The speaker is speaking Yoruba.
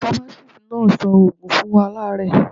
Famatisti náà sọ ògùn fún alaare